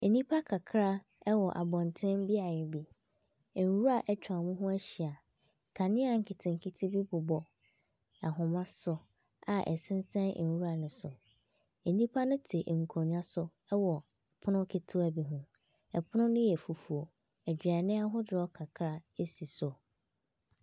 Nnipa kakra ɛwɔ abɔnten beaeɛ bi nwura atwa wɔn ho ahyia, kanea nketenkete bi bobɔ ahomaso a ɛsensɛn nwura no so. Nnipa te nkonwa so ɛwɔ ɛpono ketewa bi ho, ɛpono yɛ fufuo, aduane ahodoɔ kakra ɛsi so.